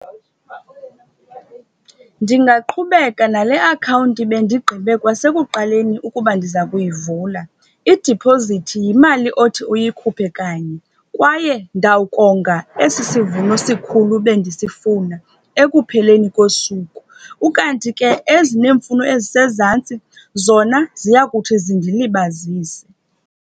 Ndingaqhubeka nale akhawunti bendigqibe kwasekuqaleni ukuba ndiza kuyivula. Idiphozithi yimali othi uyikhuphe kanye, kwaye ndawukonga esi sivuno sikhulu bendisifuna ekupheleni kosuku. Ukanti ke ezineemfuno ezisezantsi zona, ziya kuthi zindilibazise.